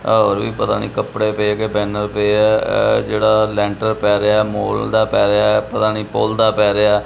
ਔਰ ਵੀ ਪਤਾ ਨੀ ਕੱਪੜੇ ਪਏਆ ਕੇ ਬੈਨਰ ਪਿਆ ਇਹ ਜਿਹੜਾ ਲੈਂਟਰ ਪਏ ਰਿਹਾ ਹੈ ਮੌਲ ਦਾ ਪਏ ਰਿਹਾ ਹੈ ਪਤਾ ਨੀ ਪੁੱਲ ਦਾ ਪਏ ਰਿਹਾ ਹੈ।